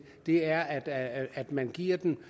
er at at man giver dem